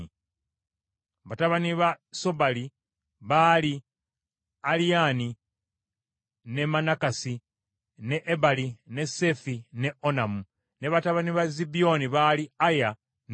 Batabani ba Sobali baali Aliyani, ne Manakasi, ne Ebali, ne Seefi ne Onamu. Ne batabani ba Zibyoni baali Aya ne Ana.